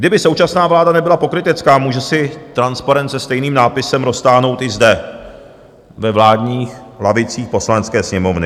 Kdyby současná vláda nebyla pokrytecká, může si transparent se stejným nápisem roztáhnout i zde ve vládních lavicích Poslanecké sněmovny.